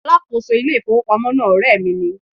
Alákòóso ilé ìfowópamọ́ náà ọ̀rẹ́ mi ni.